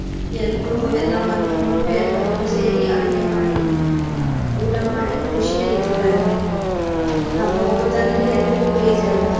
ಎಲ್ರೂ ಎಲ್ಲಾ ಮರುತ್ಕೊಂಡು ಎಲ್ಲಾ ಒಟ್ಟು ಸೇರಿ ಅಡುಗೆ ಮಾಡಿ ಊಟ ಮಾಡಿ ಖುಷಿಯಲ್ಲಿ ಇರ್ತಾರೆ ಹಬ್ಬ ಹೊಯ್ತಂದ್ರೆ ಎಲ್ರಿಗೂ ಬೇಜಾರ್.